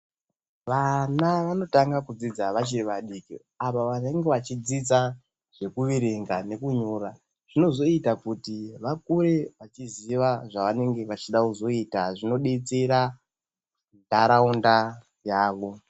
Vana vanotanga kudzidza vachiri vadiki ava vanenge vachidzidza zvekuverenga nekunyora, zvinozoita kuti vakure vachiziva zvavanenge vachida kuzoita zvinodetsera ndaraunda yavo.